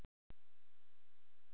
Finnst þér ég ekki agalega forvitin?